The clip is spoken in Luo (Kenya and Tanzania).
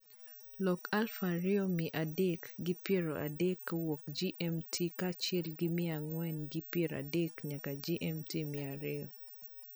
Lok aluf ariyo mia adek gi piero adek kowuok g.m.t kaachiel gi mia ang'wen gi pier adek nyaka g.m.t mia ariyo